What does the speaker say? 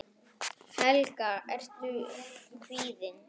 Helga: Ertu kvíðinn?